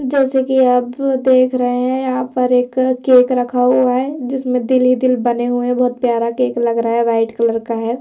जैसे कि आप भी देख रहे हैं यहां पर एक केक रखा हुआ है जिसमें दिल ही दिल बने हुए हैं बहुत प्यारा केक लग रहा है वाइट कलर का है।